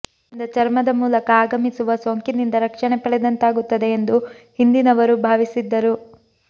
ಇದರಿಂದ ಚರ್ಮದ ಮೂಲಕ ಆಗಮಿಸುವ ಸೋಂಕಿನಿಂದ ರಕ್ಷಣೆ ಪಡೆದಂತಾಗುತ್ತದೆ ಎಂದು ಹಿಂದಿನವರು ಭಾವಿಸಿದ್ದರು